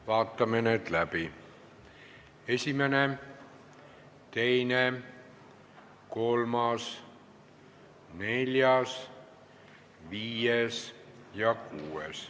Vaatame need läbi: esimene, teine, kolmas, neljas, viies ja kuues.